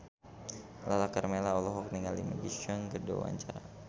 Lala Karmela olohok ningali Maggie Cheung keur diwawancara